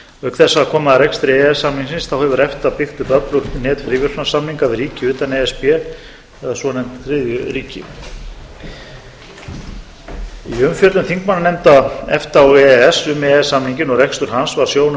auk þess að koma að rekstri e e s samningsins hefur efta byggt upp öflugt net fríverslunarsamninga við ríki utan e s b eða svonefnd þriðju ríki í umfjöllun þingmannanefnda efta og e e s um e e s samninginn og rekstur hans var sjónum